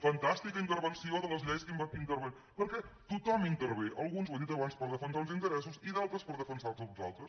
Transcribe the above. fantàstica intervenció de les lleis perquè tothom intervé alguns ho he dit abans per defensar uns interessos i d’altres per defensar·ne uns altres